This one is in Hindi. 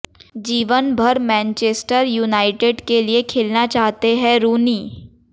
जीवन भर मैनचेस्टर युनाइटेड के लिए खेलना चाहते हैं रूनी